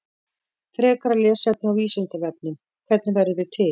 Frekara lesefni á Vísindavefnum: Hvernig verðum við til?